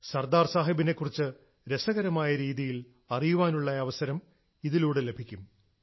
സർദാർ സാഹബിനെക്കുറിച്ച് രസകരമായ രീതിയിൽ അറിയാനുള്ള അവസരം ഇതിലൂടെ ലഭിക്കും